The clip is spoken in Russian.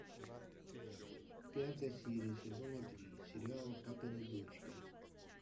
пятая серия сезона три сериала папины дочки